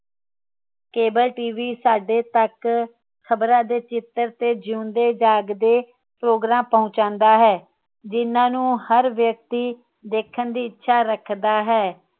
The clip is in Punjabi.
ਕੇਬਲ ਟੀਵੀ ਸਾਡੇ ਤੱਕ ਖ਼ਬਰਾਂ ਦੇ ਚਿਤਰ ਤੇ ਜਿਉਂਦੇ ਜਾਗਦੇ ਪ੍ਰੋਗਰਾਮ ਪਹੁੰਚਾਂਦਾ ਹੈ ਜਿਨ੍ਹਾਂ ਨੂੰ ਹਰ ਵਿਅਕਤੀ ਦੇਖਣ ਦੀ ਇੱਛਾ ਰੱਖਦਾ ਹੈ